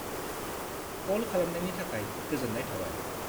Call खालामनायनि थाखाय गोजोन्नाय थाबाय।